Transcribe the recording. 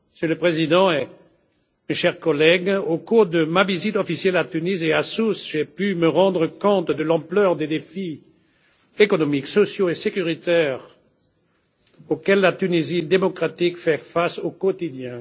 Monsieur le Président, chers collègues, au cours de ma visite officielle à Tunis et à Sousse, j'ai pu me rendre compte de l'ampleur des défis économiques, sociaux et sécuritaires auxquels la Tunisie démocratique fait face au quotidien.